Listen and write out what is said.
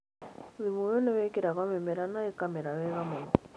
Thumu ũyũ nĩ wĩkĩragwo mĩmera na ĩkamera wega mũno.